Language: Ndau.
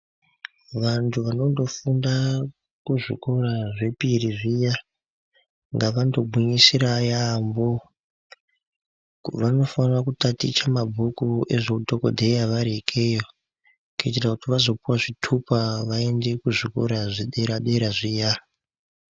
Vanthu vanondofunda kuzvikora zvepiri zviya ngavandogwinyisira yaampho vanofana kutaticha mabhuku ezveudhokodheya vari ikeyo kuitira kuti vazopuwa zvitupa vaende kuzvikora zvedera dera zviya.